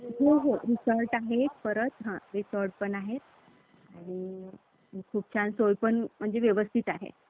हे काढलेले असतात. आणि या दिवशी, जो आपलं वर्ष सुरु होतं. हा एक साडेतीन मुहूर्तांपैकीचा एक पहिला मुहूर्त आहे.